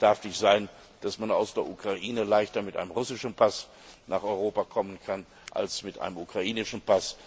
Es darf nicht sein, dass man aus der Ukraine leichter mit einem russischen Pass nach Europa kommen kann als mit einem ukrainischen.